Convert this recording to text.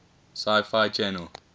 sci fi channel